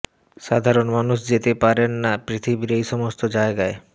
সাধারণ মানুষ যেতে পারেন না পৃথিবীর এই সমস্ত জায়গায়